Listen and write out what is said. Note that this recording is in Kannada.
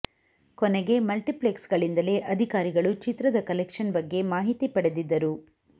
ಕೊನೆಗೆ ಮಲ್ಟಿಪ್ಲೆಕ್ಸ್ ಗಳಿಂದಲೇ ಅಧಿಕಾರಿಗಳು ಚಿತ್ರದ ಕಲೆಕ್ಷನ್ ಬಗ್ಗೆ ಮಾಹಿತಿ ಪಡೆದಿದ್ದರು